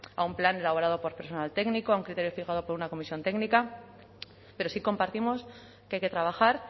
a un plan elaborado por personal técnico a un criterio fijado por una comisión técnica pero sí compartimos que hay que trabajar